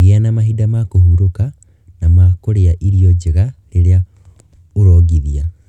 Gĩa na mahinda ma kũhurũka na ma kũrĩa irio njega rĩrĩa ũrongithia.